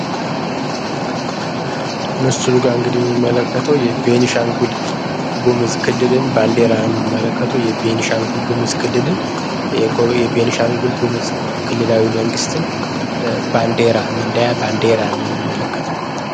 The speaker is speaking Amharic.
ምስሉ ጋር እንግድ የሚመለከተው የቤንሻንጉል ጉምዝ ክልልን ባንዴራየምንመለከተው የቤኒሻንጉል ጉምዝ ክልልን የቤንሻንጉል ጉምዝ ክልላዊ መንግሥትን ባንዴራ መለያ ባንዴራ ነው የምንምንመለከተው።